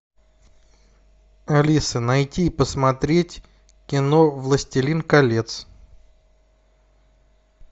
алиса найти и посмотреть кино властелин колец